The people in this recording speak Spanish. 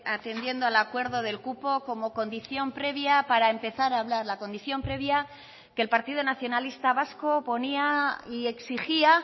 atendiendo al acuerdo del cupo como condición previa para empezar a hablar la condición previa que el partido nacionalista vasco ponía y exigía